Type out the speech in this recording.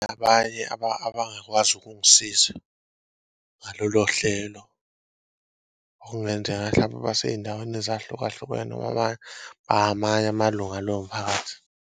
Abanye abangakwazi ukukusiza ngalolo hlelo okungenzeka hlampe basey'ndaweni ezahlukahlukene amanye amalunga alowo mphakathi.